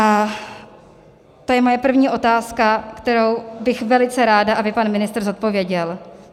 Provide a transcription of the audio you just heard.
A to je moje první otázka, kterou bych velice ráda, aby pan ministr zodpověděl.